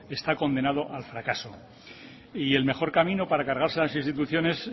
está condenado al fracaso y el mejor camino para cargarse las instituciones